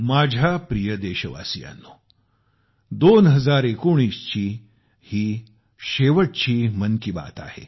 माझ्या प्रिय देशवासियांनो 2019 ची ही शेवटची मन की बात आहे